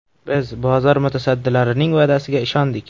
Biz bozor mutasaddilarining va’dasiga ishondik.